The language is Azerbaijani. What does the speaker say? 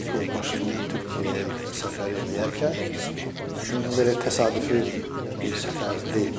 Nikol Paşinyan Türkiyəyə səfər eləyərkən belə təsadüfi bir səfər deyil.